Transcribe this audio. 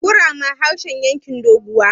kurama harshen yankin doguwa